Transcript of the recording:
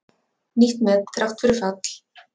Nýtt met þrátt fyrir fall